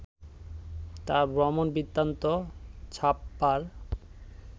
তার ভ্রমণ বৃত্তান্ত ছাপবার